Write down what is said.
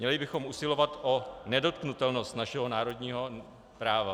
Měli bychom usilovat o nedotknutelnost našeho národního práva.